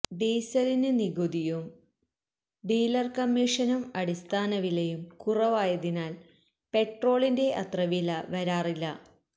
ഡീസലിന് നികുതിയും ഡീലര് കമ്മീഷനും അടിസ്ഥാന വിലയും കുറവായതിനാല് പെട്രോളിന്റെ അത്ര വില വരാറില്ല